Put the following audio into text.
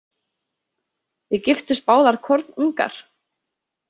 Þið giftust báðar kornungar?